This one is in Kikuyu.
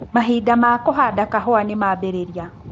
Mahinda ma kũhanda kahũa nĩmambĩrĩria.